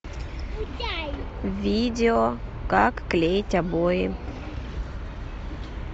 видео как клеить обои